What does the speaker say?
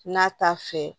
N'a t'a fɛ